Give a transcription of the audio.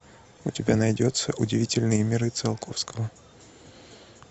у тебя найдется удивительные миры циолковского